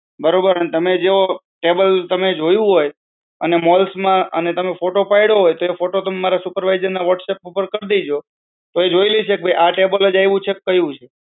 બરાબર? અને તમે જો table તમે જોયું હોય અને malls માં અને તમે photo પડવું હોય તો photo તમે મારા supervisor ના whatsapp ઉપર કર દીજો તો એ જોઈ લેશે કે આ table એ જ છે